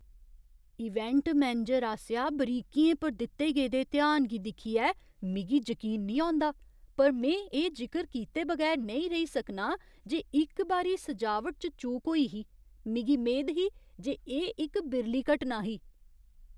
Event manager आसेआ बरीकियें पर दित्ते गेदे ध्यान गी दिक्खियै मिगी जकीन नेईं औंदा, पर में एह् जिकर कीते बगैर नेईं रेही सकनां जे इक बारी सजावट च चूक होई ही। मिगी मेद ही जे एह् इक बिरली घटना ही।